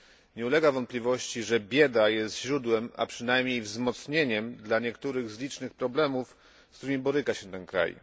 Nie ulega wątpliwości, że bieda jest źródłem, a przynajmniej wzmocnieniem dla niektórych z licznych problemów, z którymi boryka się ten kraj.